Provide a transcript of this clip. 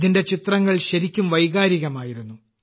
ഇതിന്റെ ചിത്രങ്ങൾ ശരിക്കും വൈകാരികമായിരുന്നു